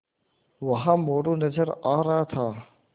वहाँ मोरू नज़र आ रहा था